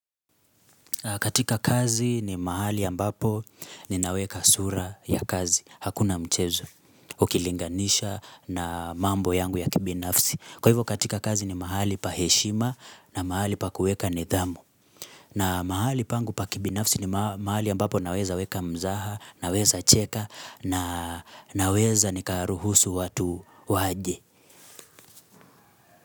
Katika kazi ni mahali ya ambapo ninaweka sura ya kazi, hakuna mchezo, ukilinganisha na mambo yangu ya kibinafsi. Kwa hivyo katika kazi ni mahali pa heshima na mahali pa kuweka nidhamu. Na mahali pangu pa kibinafsi ni mahali ambapo naweza weka mzaha, naweza cheka, naweza nikaruhusu watu waje.